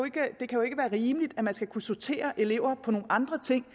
jo ikke være rimeligt at man skal kunne sortere elever på nogle andre ting